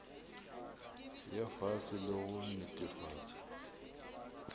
ya fase le go netefatša